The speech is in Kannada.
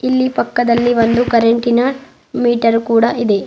ಇಲ್ಲಿ ಪಕ್ಕದಲ್ಲಿ ಒಂದು ಕರೆಂಟಿನ ಮೀಟರ್ ಕೂಡ ಇದೆ.